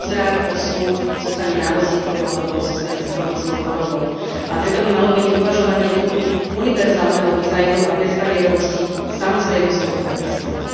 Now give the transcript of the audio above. Príde o zrak, o sluch, zostane na vozíku alebo zostane s chronickou chorobou, a preto by malo byť uvažovanie v duchu univerzálneho dizajnu a bezbariérovosti samozrejmosťou aj bez kvót.